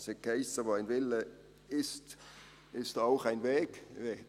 Es hiess: «Wo ein Wille ist, ist auch ein Weg.